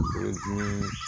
dimi